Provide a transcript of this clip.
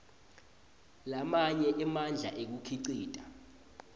lamanye emandla ekukhicita